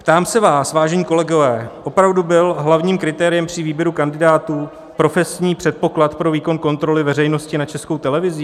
Ptám se vás, vážení kolegové, opravdu byl hlavním kritériem při výběru kandidátů profesní předpoklad pro výkon kontroly veřejnosti nad Českou televizí?